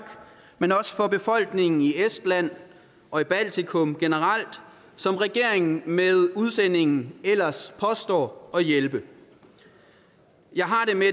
men også for befolkningen i estland og i baltikum generelt som regeringen med udsendingen ellers påstår at hjælpe jeg har det med